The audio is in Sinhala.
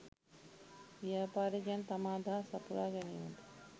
ව්‍යාපාරිකයන්ට තම අදහස් සපුරා ගැනීමට